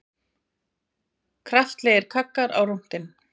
Kraftalegir kaggar á rúntinn